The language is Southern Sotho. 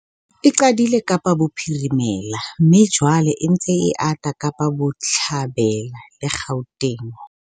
E qadile Kapa Bophirimela mme jwale e ntse e ata Kapa Botjhabela le Gauteng.